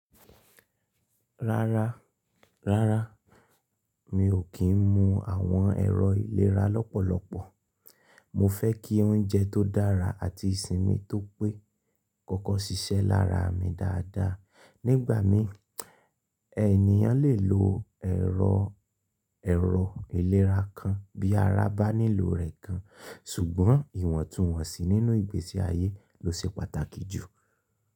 Rárá, rárá, mi ò kí ń mu àwọn ẹ̀rọ ìlera lọ́pọ̀lọpọ̀. Mo fẹ́ kí óúnjẹ tó dára àti ìsinmi tó pé kọ́kọ́ ṣiṣẹ́ lára mi dáadáa. Nígbà mi ènìyàn lè lo ẹ̀rọ ìlera kan bí ara bá nílò rẹ̀ kan ṣùgbọ́n ìwọ̀ntúnwọ̀nsì nínú ìgbésí ayé ló ṣe pàtàkì jù.